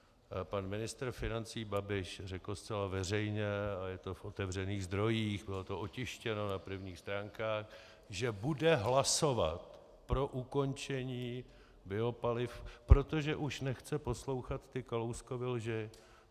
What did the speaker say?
Pan ministr financí Babiš řekl zcela veřejně, a je to v otevřených zdrojích, bylo to otištěno na prvních stránkách, že bude hlasovat pro ukončení biopaliv, protože už nechce poslouchat ty Kalouskovy lži.